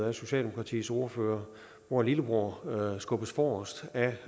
af socialdemokratiets ordfører hvor lillebror skubbes forrest